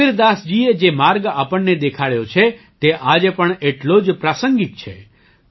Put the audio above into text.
કબીરદાસજીએ જે માર્ગ આપણને દેખાડ્યો છે તે આજે પણ એટલો જ પ્રાસંગિક છે